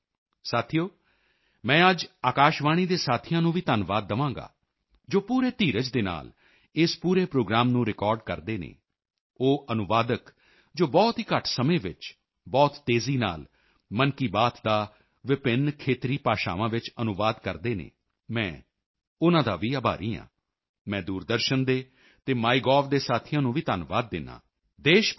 ਸਾਥੀਓ ਮੈਂ ਅੱਜ ਆਕਾਸ਼ਵਾਣੀ ਦੇ ਸਾਥੀਆਂ ਨੂੰ ਵੀ ਧੰਨਵਾਦ ਦਵਾਂਗਾ ਜੋ ਪੂਰੇ ਧੀਰਜ ਦੇ ਨਾਲ ਇਸ ਪੂਰੇ ਪ੍ਰੋਗਰਾਮ ਨੂੰ ਰਿਕਾਰਡ ਕਰਦੇ ਹਨ ਉਹ ਅਨੁਵਾਦਕ ਟ੍ਰਾਂਸਲੇਟਰਜ਼ ਜੋ ਬਹੁਤ ਹੀ ਘੱਟ ਸਮੇਂ ਵਿੱਚ ਬਹੁਤ ਤੇਜ਼ੀ ਨਾਲ ਮਨ ਕੀ ਬਾਤ ਦਾ ਵਿਭਿੰਨ ਖੇਤਰੀ ਭਾਸ਼ਾਵਾਂ ਵਿੱਚ ਅਨੁਵਾਦ ਕਰਦੇ ਹਨ ਮੈਂ ਉਨ੍ਹਾਂ ਦਾ ਵੀ ਆਭਾਰੀ ਹਾਂ ਮੈਂ ਦੂਰਦਰਸ਼ਨ ਦੇ ਅਤੇ ਮਾਈਗੋਵ ਮਾਈਗੋਵ ਦੇ ਸਾਥੀਆਂ ਨੂੰ ਵੀ ਧੰਨਵਾਦ ਦਿੰਦਾ ਹਾਂ ਦੇਸ਼ ਭਰ ਦੇ ਟੀ